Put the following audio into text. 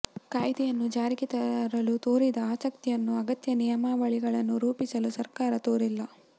ಕಾಯ್ದೆಯನ್ನು ಜಾರಿಗೆ ತರಲು ತೋರಿದ ಆಸಕ್ತಿಯನ್ನು ಅಗತ್ಯ ನಿಯಮಾವಳಿಗಳನ್ನು ರೂಪಿಸಲು ಸರ್ಕಾರ ತೋರಿಲ್ಲ